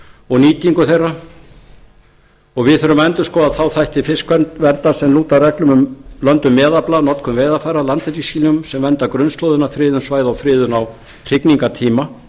og nýtingu þeirra og við þurfum að skoða þá þætti fiskverndar sem lúta að reglum um löndun meðafla notkun veiðarfæra landhelgislínum sem vernda grunnslóðina friðun svæða og friðun á hrygningartíma